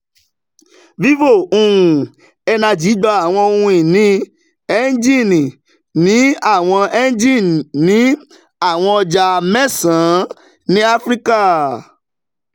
vivo um energy gba àwọn ohun ìní engen ní àwọn engen ní àwọn ọjà mẹ́sàn-án ní áfíríkà